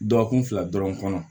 Dɔgɔkun fila dɔrɔn kɔnɔ